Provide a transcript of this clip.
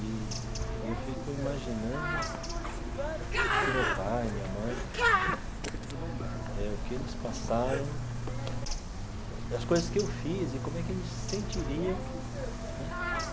E eu fico imaginando o que o meu pai, minha mãe eh, o que eles passaram, as coisas que eu fiz e como é que eles se sentiriam né.